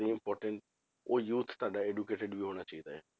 ਨਹੀਂ important ਉਹ youth ਤੁਹਾਡਾ educated ਵੀ ਹੋਣਾ ਚਾਹੀਦਾ ਆ,